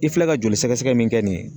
I filɛ ka joli sɛgɛsɛgɛ min kɛ nin ye?